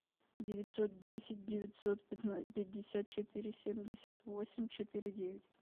девятьсот десять девятьсот пятьдесят четыре семьдесят восемь четыре девять